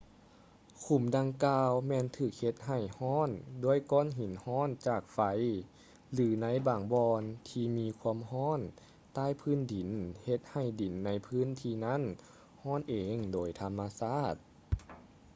ຂຸມດັ່ງກ່າວແມ່ນຖືກເຮັດໃຫ້ຮ້ອນດ້ວຍກ້ອນຫີນຮ້ອນຈາກໄຟ ຫຼື ໃນບາງບ່ອນທີ່ມີຄວາມຮ້ອນໃຕ້ພື້ນດິນເຮັດໃຫ້ດິນໃນພື້ນທີ່ນັ້ນຮ້ອນເອງໂດຍທຳມະຊາດ